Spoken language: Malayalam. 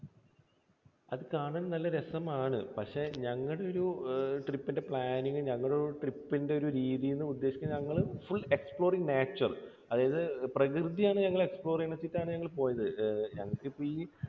അത് കാണാൻ നല്ല രസമാണ്. പക്ഷേ ഞങ്ങളുടെ ഒരു trip ന്റെ planing, ഞങ്ങളുടെ trip ന്റെ ഒരു രീതി എന്ന് ഉദ്ദേശിച്ചത് ഞങ്ങൾ കൂടുതൽ explore nature അതായത് പ്രകൃതിയാണ് ഞങ്ങൾ explore ചെയ്യണമെന്ന് വെച്ചിട്ടാണ് ഞങ്ങൾ പോയത്. ഞങ്ങൾക്കിപ്പോൾ ഈ